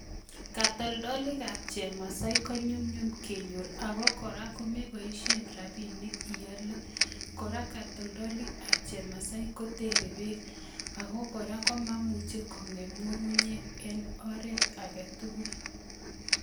Kotoldoloikab chemasai ko nyumnyum kenyor ak ko kora kokeboishen rabinik iole, kora katoldolikab chemasai kotere beek, ak ko kora komamuche kong'em ng'ung'unyek en oret sketukul.